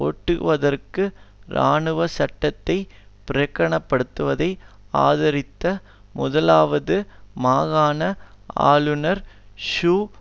ஓட்டுக்குவதற்கு இராணுவ சட்டத்தைப் பிரகடனப்படுத்துவதை ஆதரித்த முதலாவது மாகாண ஆளுநர் ஹூ தான்